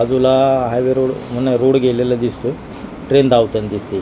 बाजूला highway road होण्या road गेलेला दिसतोय ट्रेन धावताना दिसतीये.